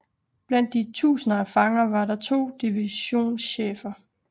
Blandt de tusinder af fanger var der to divisionschefer